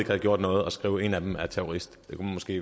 havde gjort noget og skrev at en af dem var terrorist